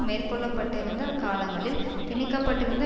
மேற்கொள்ளப்பட்டிருந்த காலங்களில் திணிக்கப்பட்டிருந்த